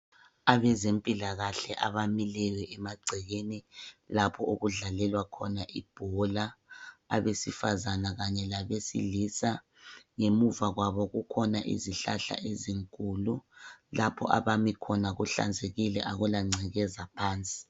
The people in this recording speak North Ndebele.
Abezempilakahle abamileyo emagcekeni lapho okudlalelwa khona ibhola abesifazana kanye labesilisa. Ngemuva kwabo kukhona izihlahla ezinkulu. Lapho abami khona kuhlanzekile akulangcekeza phansi.